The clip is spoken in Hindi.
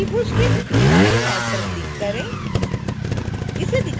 अब त्रिभुज के ऊपरी बाएँ नोड पर क्लिक करें